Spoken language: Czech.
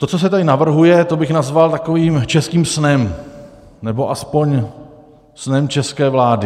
To, co se tady navrhuje, to bych nazval takovým českým snem, nebo aspoň snem české vlády.